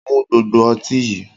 Mu gbogbo ọtí yí!